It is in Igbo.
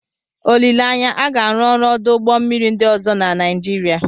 Olileanya, a ga-arụ ọrụ ọdụ ụgbọ mmiri ndị ọzọ na Nigeria.